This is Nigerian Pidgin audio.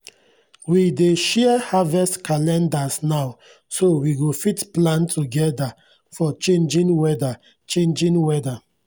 we dey share harvest calendars now so we go fit plan togeda for changing weda changing weda